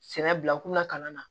Sɛnɛ bila k'u la kalan na